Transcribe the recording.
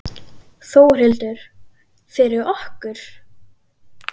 Þórhildur: Fyrir okkur?